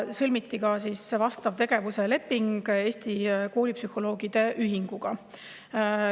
Sõlmiti ka vastav tegevusleping Eesti Koolipsühholoogide Ühinguga.